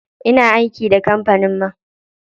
Ina aiki da kampanin man.